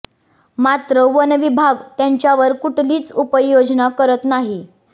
मात्र वन विभाग त्याच्यावर कुठलीच उपाययोजना करीत नाही